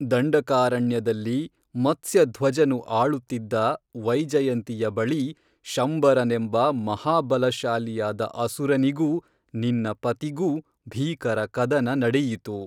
ದಂಡಕಾರಣ್ಯದಲ್ಲಿ ಮತ್ಸ್ಯಧ್ವಜನು ಆಳುತ್ತಿದ್ದ ವೈಜಯಂತಿಯ ಬಳಿ ಶಂಬರನೆಂಬ ಮಹಾಬಲಶಾಲಿಯಾದ ಅಸುರನಿಗೂ ನಿನ್ನ ಪತಿಗೂ ಭೀಕರಕದನ ನಡೆಯಿತು